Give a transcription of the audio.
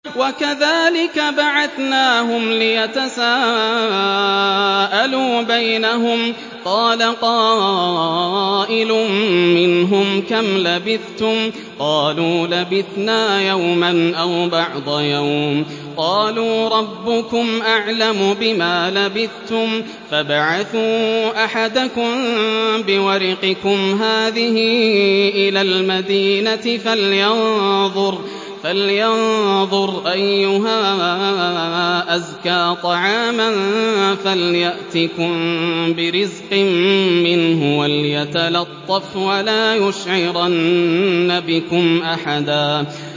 وَكَذَٰلِكَ بَعَثْنَاهُمْ لِيَتَسَاءَلُوا بَيْنَهُمْ ۚ قَالَ قَائِلٌ مِّنْهُمْ كَمْ لَبِثْتُمْ ۖ قَالُوا لَبِثْنَا يَوْمًا أَوْ بَعْضَ يَوْمٍ ۚ قَالُوا رَبُّكُمْ أَعْلَمُ بِمَا لَبِثْتُمْ فَابْعَثُوا أَحَدَكُم بِوَرِقِكُمْ هَٰذِهِ إِلَى الْمَدِينَةِ فَلْيَنظُرْ أَيُّهَا أَزْكَىٰ طَعَامًا فَلْيَأْتِكُم بِرِزْقٍ مِّنْهُ وَلْيَتَلَطَّفْ وَلَا يُشْعِرَنَّ بِكُمْ أَحَدًا